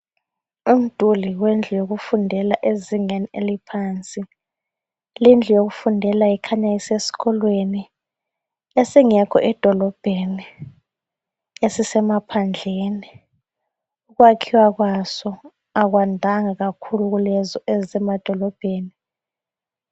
Umduli wendlu yokufundela ezingeni eliphansi. Lindlu yokufundela ikhanya usesikolweni. Esingekho edolobheni. Esisemaphandleni. Ukwakhiwa kwaso akwandanga kakhulu kulezo ezisemadolobheni.